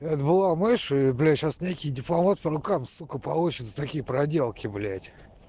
это была мышь и блять сейчас некий дипломат по рукам сука получит за такие проделки блять